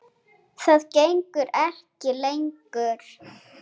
Það gengur ekki lengur.